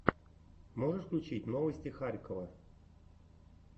можешь включить новости харькова